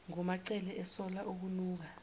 ngumacele esola okunuka